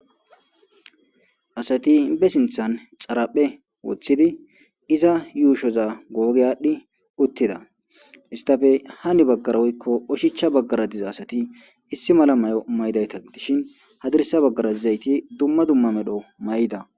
Asati be sinthan xaraphe woththidi iza yuushoza googe aadhdhi uttida istafe hani baggara woykko oshicha baggara diza asati issi mala may'o may'dayta dishin hadirsa baggara dizayti dumma dumma medho may'da.